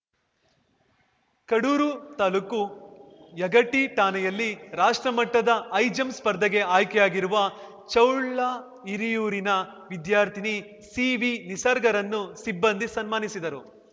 ಕಡೂರು ತಾಲೂಕು ಯಗಟಿ ಠಾಣೆಯಲ್ಲಿ ರಾಷ್ಟ್ರಮಟ್ಟದ ಹೈ ಜಂಪ್‌ ಸ್ವರ್ಧೆಗೆ ಆಯ್ಕೆಯಾಗಿರುವ ಚೌಳಹಿರಿಯೂರಿನ ವಿದ್ಯಾರ್ಥಿನಿ ಸಿವಿನಿಸರ್ಗರನ್ನು ಸಿಬ್ಬಂದಿ ಸನ್ಮಾನಿಸಿದರು